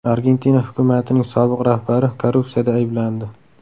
Argentina hukumatining sobiq rahbari korrupsiyada ayblandi.